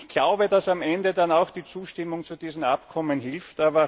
Ich glaube, dass am Ende dann auch die Zustimmung zu diesen Abkommen hilft.